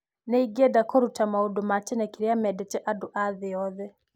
nĩingĩenda korũta maũndũ ma gĩtene kĩria mendete andũ athĩciothe